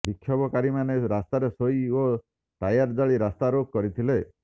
ବିକ୍ଷୋଭକାରୀମାନେ ରାସ୍ତାରେ ଶୋଇ ଓ ଟାୟାର ଜାଳି ରାସ୍ତା ରୋକ କରିଥିଲେ